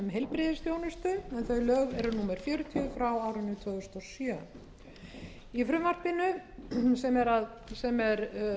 heilbrigðisþjónustu en þau lög eru númer fjörutíu tvö þúsund og sjö í frumvarpinu sem er